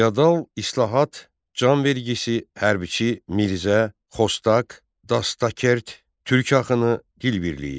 Feodal, islahat, can vergisi, hərbiçi, Mirzə, Xostaq, Dastakert, Türk axını, dil birliyi.